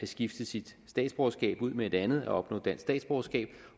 skifte sit statsborgerskab ud med et andet og opnå dansk statsborgerskab